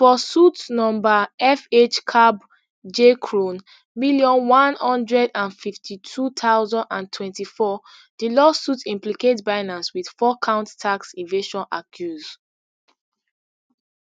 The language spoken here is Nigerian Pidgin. for suit number fhcabjcrone million, one hundred and fifty-two thousand and twenty-four di lawsuit implicate binance wit fourcount tax evasion accuse